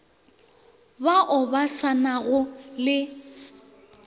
bao ba sa nago le